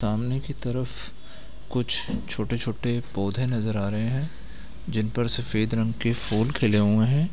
सामने की तरफ कुछ छोटे-छोटे पौधे नज़र आ रहे हैं जिनपर सफेद रंग के फूल खिले हुए हैं ।